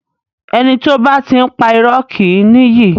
Ẹni tí ó bá ti ń pá irọ́ kì í ní iyì.